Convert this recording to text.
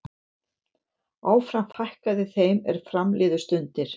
Áfram fækkaði þeim er fram liðu stundir.